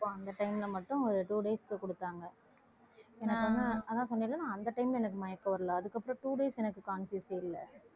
அப்போ அந்த time ல மட்டும் ஒரு two days க்கு குடுத்தாங்க அதான் சொன்னேன்ல நான் அந்த time ல எனக்கு மயக்கம் வரலை அதுக்கப்புறம் two days எனக்கு conscious யே இல்லை.